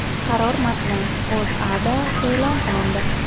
Qaror matni O‘zAda e’lon qilindi .